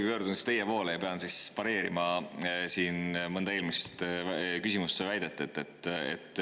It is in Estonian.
Ma pöördun siis teie poole, kuna pean pareerima mõnda eelmist küsimust või väidet.